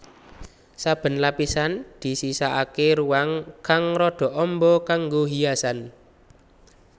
Saben lapisan disisakaké ruang kang rada amba kanggo hiasan